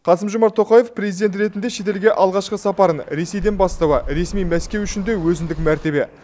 қасым жомарт тоқаев президент ретінде шетелге алғашқы сапарын ресейден бастауы ресми мәскеу үшін де өзіндік мәртебе